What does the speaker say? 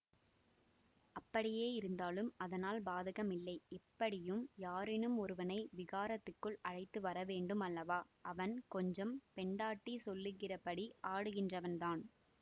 அப்படியேயிருந்தாலும் அதனால் பாதகமில்லை எப்படியும் யாரேனும் ஒருவனை விகாரத்துக்குள் அழைத்து வரவேண்டும் அல்லவா அவன் கொஞ்சம் பெண்டாட்டி சொல்லுகிறபடி ஆடுகின்றவன் தான்